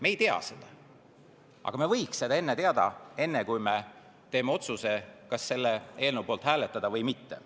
Me ei tea seda, aga me võiks seda teada, enne kui me teeme otsuse, kas selle eelnõu poolt hääletada või mitte.